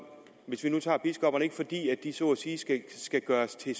hvis vi nu tager biskopperne ikke fordi de så at sige skal gøres til